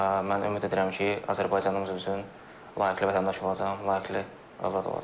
Və mən ümid edirəm ki, Azərbaycanımız üçün layiqli vətəndaş olacam, layiqli övlad olacam.